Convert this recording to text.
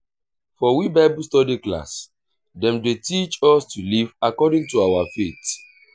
for we bible study class dem dey teach us to live according to our faith